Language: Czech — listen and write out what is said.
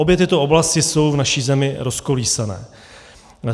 Obě tyto oblasti jsou v naší zemi rozkolísané.